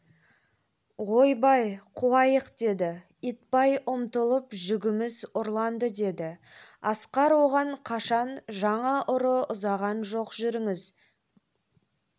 ойбай қуайық деді итбай ұмтылып жүгіміз ұрланды деді асқар оған қашан жаңа ұры ұзаған жоқ жүріңіз